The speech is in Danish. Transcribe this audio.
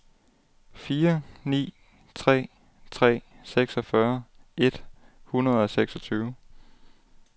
fire ni tre tre seksogfyrre et hundrede og seksogtyve